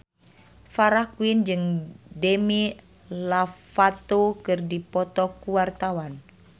Farah Quinn jeung Demi Lovato keur dipoto ku wartawan